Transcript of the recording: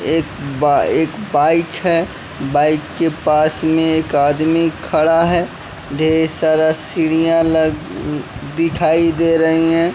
एक बा एक बाइक है बाइक के पास में एक आदमी खड़ा है ढेर सारा सीढ़ियां ल दिखाई दे रही हैं।